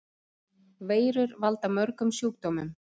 Veirur valda mörgum sjúkdómum.